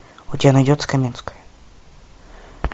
у тебя найдется каменская